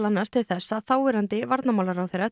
annars til þess að þáverandi varnarmálaráðherra